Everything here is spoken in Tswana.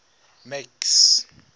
max